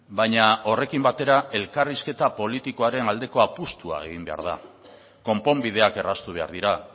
baina horrekin batera elkarrizketa politikoaren aldeko apustua egin behar da konponbideak erraztu behar dira